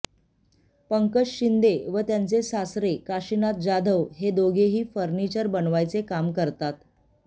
पंकज शिंदे व त्यांचे सासरे काशिनाथ जाधव हे दोघेही फर्निचर बनवायचे काम करतात